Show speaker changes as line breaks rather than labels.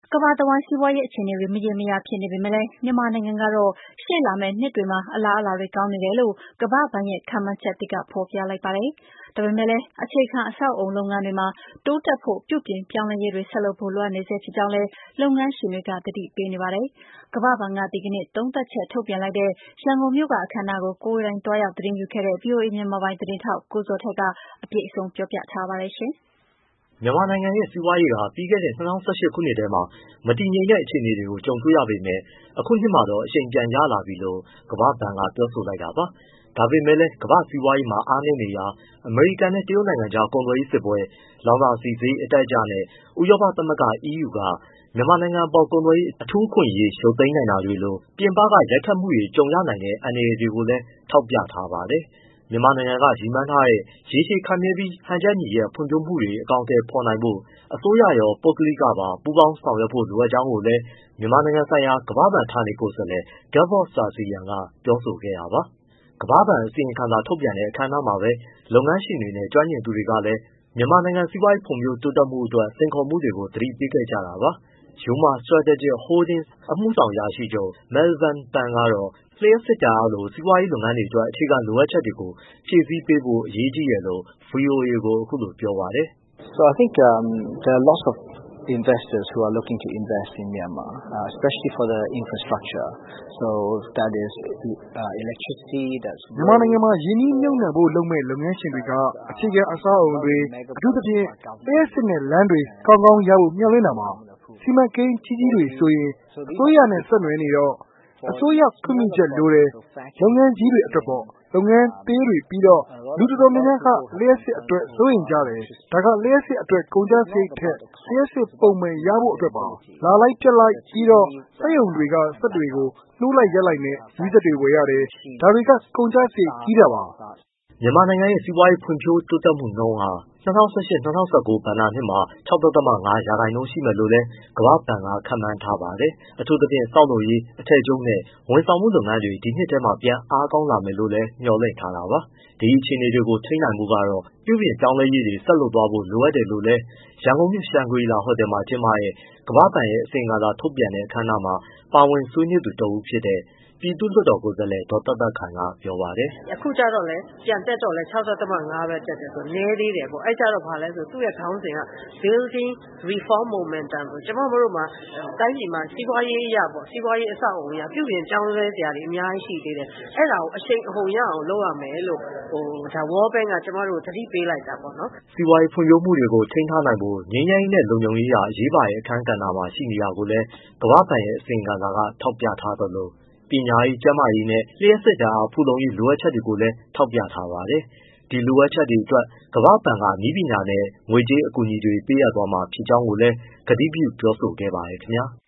ကမ္ဘာတဝန်း စီးပွားရေး အခြေအနေတွေ မရေမရာ ဖြစ်နေပေမဲ့ မြန်မာနိုင်ငံကတော့ ရှေ့လာမယ့် နှစ်တွေမှာ အလားအလာတွေ ကောင်းနေတယ်လို့ ကမ္ဘာ့ဘဏ်ရဲ့ ခန့်မှန်းချက်သစ်က ဖော်ပြလိုက်ပါတယ်။ ဒါပေမဲ့လည်း အခြေခံအဆောက်အအုံ လုပ်ငန်းတွေမှာ တိုးတက်ဖို့ ပြုပြင်ပြောင်းလဲရေးတွေ ဆက်လုပ်ဖို့ လိုအပ်နေဆဲ ဖြစ်ကြောင်းလည်း လုပ်ငန်းရှင်တွေက သတိပေးနေကြတာပါ။ အပြည့်အစုံကိုတော့ ကမ္ဘာ့ဘဏ်က ဒီကနေ့ သုံးသပ်ချက် ထုတ်ပြန်တဲ့ ရန်ကုန်မြို့က အခမ်းအနားကို ကိုယ်တိုင်သွားရောက် သတင်းယူခဲ့တဲ့ ဗွီအိုအေ မြန်မာပိုင်းသတင်းထောက် ကိုဇော်ထက်က ပြောပြပေးမှာပါ။ မြ
န်မာနိုင်ငံရဲ့ စီးပွားရေးက ပြီးခဲ့တဲ့ ၂၀၁၈ ခုနှစ်ထဲ မတည်မငြိမ် အခြေအနေတွေ ကြုံခဲ့ရပေမဲ့ ဒီနှစ်မှာတော့ အရှိန်ပြန်ရလာနေပြီလို့ ကမ္ဘာ့ဘဏ်က ပြောဆိုလိုက်တာပါ။ ဒါပေမဲ့လည်း ကမ္ဘာ့စီးပွားရေးမှာ အားနည်းနေတာ အမေရိကန်နဲ့ တရုတ်နိုင်ငံကြား ကုန်သွယ်ရေးစစ်ပွဲ၊ လောင်စာဆီဈေး အတက်အကျနဲ့ ဥရောပသမဂ္ဂ (EU) က မြန်မာနိုင်ငံအပေါ် ကုန်သွယ်ရေး အထူးအခွင့်အရေး ရုတ်သိမ်းနိုင်တာတွေလို ပြင်ပက ရိုက်ခတ်မှုတွေ ကြုံရနိုင်တဲ့ အန္တရာယ်တွေကိုလည်း ထောက်ပြထားပါတယ်။ မြန်မာနိုင်ငံက ရည်မှန်းထားတဲ့ ရေရှည်ခိုင်မြဲပြီး ဟန်ချက်ညီတဲ့ ဖွံ့ဖြိုးမှုတွေ အကောင်အထည် ဖော်နိုင်ဖို့အတွက် အစိုးရရော၊ ပုဂ္ဂလိကပါ ပူးပေါင်းပါဝင်ဖို့ လိုအပ်ကြောင်းလည်း မြန်မာနိုင်ငံဆိုင်ရာ ကမ္ဘာ့ဘဏ် ဌာနေကိုယ်စားလှယ် Gevorg Sargsyan က ပြောဆိုခဲ့တာပါ။ ကမ္ဘာ့ဘဏ် အစီရင်ခံစာ ထုတ်ပြန်တဲ့ အခန်းအနားမှာပဲ လုပ်ငန်းရှင်တွေနဲ့ ကျွမ်းကျင်သူတွေကလည်း မြန်မာနိုင်ငံ စီးပွားရေးဖွံ့ဖြိုးမှုအတွက် စိန်ခေါ်မှုတွေကို သတိပေးခဲ့ကြတာပါ။ Yoma Strategic Holdings ရဲ့ အမှုဆောင်အရာရှိချုပ် Melvyan Pun ကတော့ လျှပ်စစ်ဓာတ်အားလို စီးပွားရေး လုပ်ငန်းတွေအတွက် အခြေခံ လိုအပ်ချက်တွေကို ဖြည့်ဆည်းပေးဖို့ အရေးကြီးတယ်လို့ ဗွီအိုအေကို အခုလို ပြောပါတယ်။ “မြန်မာနိုင်ငံမ
ှာရင်းနှီးမြှုပ်နှံဖို့လုပ်မယ့် လုပ်ငန်းရှင်တွေက အခြေခံအဆောက်အအုံတွေ အထူးသဖြင့်ပေါ့ လျှပ်စစ်နဲ့ လမ်းတွေ ကောင်းကောင်းရဖို့ မျှော်လင့်တာပေါ့။ စီမံကိန်းကြီးကြီးတွေဆိုရင် အစိုးရနဲ့ ဆက်နွယ်နေတော့ အစိုးရခွင့်ပြုချက်လိုတယ် လုပ်ငန်းကြီးတွေအတွက်ပေါ့။ လုပ်ငန်းသေးတွေပြီးတော့ လူတော်တော်များများ ကလျှပ်စစ်အတွက် စိုးရိမ်ကြတယ်။ ဒါကလျှပ်စစ်အတွက် ကုန်ကျစရိတ်ထက် လျှပ်စစ်ပုံမှန် ရဖို့အတွက်ပါ လာလိုက်ပျက်လိုက်။ ပြီးတော့ စက်ရုံက စက်တွေ နှိုးလိုက်၊ ရပ်လိုက်နဲ့ မီးစက်တွေ ဝယ်ရတယ်။ ဒါတွေက ကုန်ကျစရိတ်ကြီးတာပါ။” မြန်မာနိုင်ငံရဲ့ စီးပွားရေးဖွံ့ဖြိုးမှုနှုန်
းဟာ ၂၀၁၈-၂၀၁၉ ဘဏ္ဍာနှစ်မှာ ၆.၅ ရာခိုင်နှုန်း ရှိမယ်လို့လည်း ကမ္ဘာ့ဘဏ်က ခန့်မှန်းထားပါတယ်။ အထူးသဖြင့် ဆောက်လုပ်ရေး၊ အထည်ချုပ်နဲ့ ဝန်ဆောင်မှုလုပ်ငန်းတွေ ဒီနှစ်ထဲ ပြန်အားကောင်း လာမယ်လို့လည်း မျှော်လင့်ထားတာပါ။ ဒီအခြေအနေတွေကို ထိန်းထားနိုင်ဖို့ကတော့ ပြုပြင် ပြောင်းလဲရေးတွေ ဆက်လုပ်သွားဖို့ လိုတယ်လို့လည်း ရန်ကုန်မြို့ ရှန်ဂရီလာဟိုတယ်မှာ ကျင်းပတဲ့ ကမ္ဘာ့ဘဏ်ရဲ့ အစီရင်ခံစာ ထုတ်ပြန်တဲ့ အခမ်းအနားမှာ ပါဝင်ဆွေးနွေးသူ တဦးဖြစ်တဲ့ ပြည်သူ့လွှတ်တော်ကိုယ်စားလှယ် ဒေါ်သက်သက်ခိုင်က ပြောပါတယ်
။ “အခုပြန်တက်တော့လည်း ၆.၅ ရာခိုင်နှုန်းပဲဆိုတော့ နည်းသေးတယ်ပေါ့ သူ့ရဲ့ (World Bank ရဲ့) ခေါင်းစဉ်က Building Reform Momentum ပေ့ါ ကျမတို့ တိုင်းပြည်မှာ စီးပွားရေး အဆောက်အအုံအရ ပြုပြင်ပြောင်းလဲစရာတွေ အများကြီး ရှိသေးတယ်။ အဲဒါကို အရှိန်အဟုန် ရအောင် လုပ်ရမယ်လို့ ဒါ World Bank က ကျမတို့ကို သတိပေးလိုက်တာပေါ့နော်
။” စီးပွားရေး ဖွံ့ဖြိုးမှုတွေကို ထိန်းထားနိုင်ဖို့ ငြိမ်းချမ်းရေးနဲ့ လုံခြုံရေးဟာ အရေးပါတဲ့ အခန်းကဏ္ဍမှာ ရှိနေတာကိုလည်း ကမ္ဘာ့ဘဏ်ရဲ့ အစီရင်ခံစာက ထောက်ပြထားသလို၊ ပညာရေး၊ ကျန်းမာရေးနဲ့ လျှပ်စစ်ဓာတ်အား ဖူလုံရေး လိုအပ်ချက်တွေကိုလည်း ဖော်ထြားပါတယ်။ ဒီလိုအပ်ချက်တွေအတွက် ကမ္ဘာ့ဘဏ်က နည်းပညာနဲ့ ငွေကြေးအကူအညီတွေ ပေးအပ်သွားမှာ ဖြစ်ကြောင်းလည်း ကတိပြု ပြောဆိုခဲ့ပါတယ် ခင်ဗျာ။